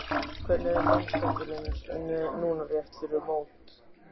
Hvernig er mannskapurinn núna rétt fyrir mót?